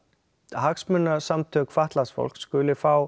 hagsmunasamtök fatlaðs fólks skuli fá